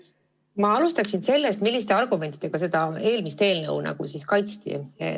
Ma alustan sellest, milliste argumentidega seda eelmist eelnõu kaitsti.